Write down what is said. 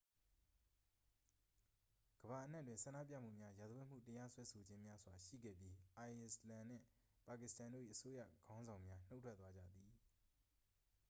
ကမ္ဘာအနှံ့တွင် ဆန္ဒပြမှုများ ရာဇဝတ်မှု တရားစွဲဆိုခြင်းများစွာ ရှိခဲ့ပြီး အိုက်စ်လန်နှင့် ပါကစ္စတန်တို့၏ အစိုးရခေါင်းဆောင်များ နှုတ်ထွက်သွားကြသည်